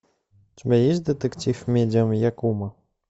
у тебя есть детектив медиум якумо